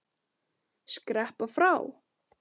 Skreppa frá?